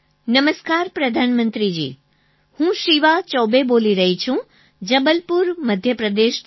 નમસ્કાર પ્રધાનમંત્રી જી હું શિવા ચૌબે બોલી રહી છું જબલપુર મધ્યપ્રદેશથી